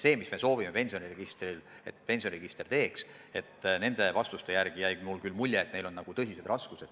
Nende vastuste kohaselt jäi küll mulje, et neil on tõsiseid raskusi selle tagamisega, millega meie arvates pensioniregister hakkama peaks saama.